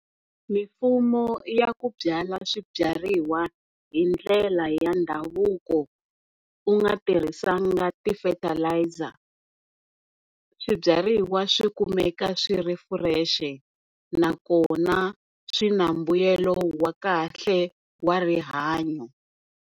Mifumo ya ku byala swibyariwa hindlela ya ndhavuko u nga tirhisanga ti fertilizer swibyariwa swi kumeka swi ri fresh nakona swi na mbuyelo wa kahle wa rihanyo.